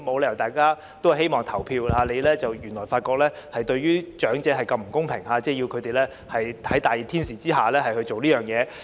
大家都希望投票，但發覺原來對長者這麼不公平，要他們在炎熱天氣下做這件事。